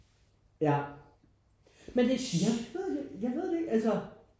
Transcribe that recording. Ja jeg ved det jeg ved det ikke altså